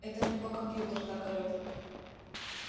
это у него компьютер так орёт